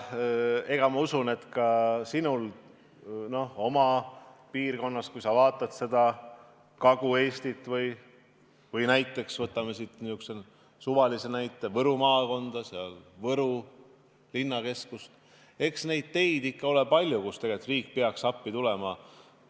Ma usun, et ka sinul oma piirkonnas – kui sa vaatad Kagu-Eestit või näiteks Võru maakonda ja Võru linna – on palju selliseid teid, kus tegelikult peaks riik appi tulema.